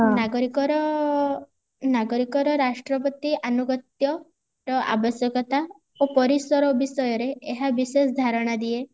ନାଗରିକର ନାଗରିକର ରାଷ୍ଟ୍ର ପ୍ରତି ଆନୁଗତ୍ୟର ଅବଶ୍ୟକତା ଓ ପରିସର ବିଷୟରେ ଏହା ବିଶେଷ ଧାରଣା ଦିଏ